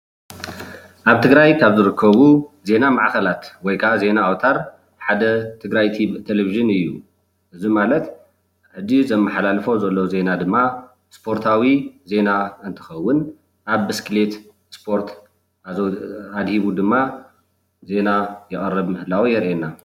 ኣብ ትግራይ ካብ ዝርከቡ ዜና ማዕከላት ወይ ካዓ ዜና ኣውታር ሓደ ትግራይ ቲቪ ቴለቭዥን እዩ። እዚ ማለት ሕጂ ዘማሓላልፎ ዘሎ ዜና ድማ ስፖርታዊ ዜና እንትኸውን፣ ኣብ ብስክሌት ስፖርት ኣዘውቲሩ ኣድሂቡ ድማ ዜና የቕርብ ምህላው የርእየና።